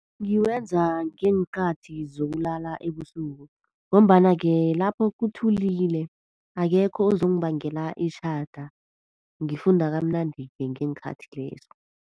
Ngiwenza ngeenkathi zokulala ebusuku, ngombana-ke lapho kuthulile. Akekho ozongibangela itjhada. Ngifunda kamnandi-ke ngeenkhathi lezo.